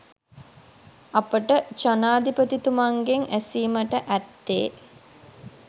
අපට ජනාධිපතිතුමන්ගෙන් ඇසීමට ඇත්තේ